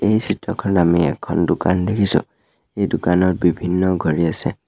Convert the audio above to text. এই চিত্ৰখনত আমি এখন দোকান দেখিছোঁ এই দোকানত বিভিন্ন ঘড়ী আছে।